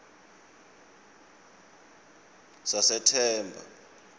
sasethemba